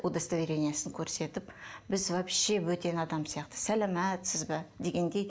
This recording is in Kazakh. удостоверениесін көрсетіп біз вообще бөтен адам сияқты саламатсыз ба дегендей